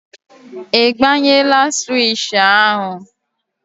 Ị gbanyela swishì ahụ?